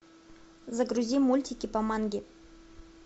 загрузи мультики по манге